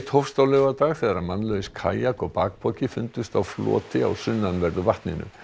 hófst á laugardag þegar mannlaus kajak og bakpoki fundust á floti á sunnanverðu vatninu